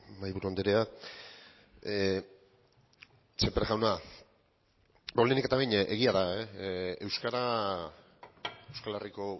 mahaiburu andrea sémper jauna beno lehenik eta behin egia da euskara euskal herriko